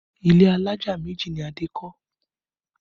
Ilé alájà méjì ni Adé kọ́